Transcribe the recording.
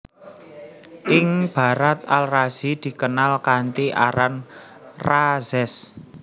Ing Barat Al Razi dikenal kanthi aran Rhazes